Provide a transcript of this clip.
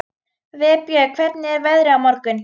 Vébjörn, hvernig er veðrið á morgun?